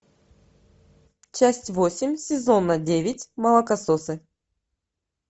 часть восемь сезона девять молокососы